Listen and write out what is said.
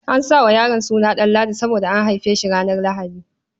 An sa wa yaron suna Ɗanladi saboda an haife shi ranar Lahadi.